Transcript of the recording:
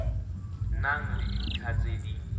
nang le dintlha tse di